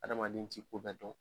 Adamaden ti ko bɛ dɔn.